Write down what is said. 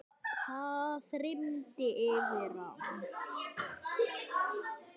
Það þyrmdi yfir hann.